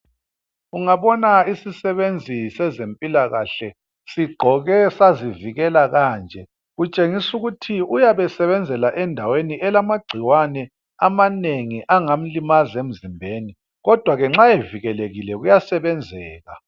Ungabona isisebenzi sezempilakahle sigqoke sazivikela kanje kutshengisa ukuthi uyabe esebenzela endaweni elamagcikwane amanengi angamlimaza emzimbeni kodwa ke nxa evikelekile kuyasebenzeka.